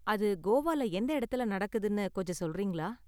அது கோவால எந்த இடத்துல நடக்குதுனு கொஞ்சம் சொல்றீங்களா?